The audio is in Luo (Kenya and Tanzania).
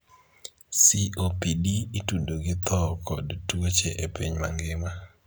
COPD' itudo gi tho kod tuoche e piny mangima.